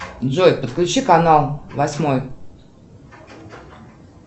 джой подключи канал восьмой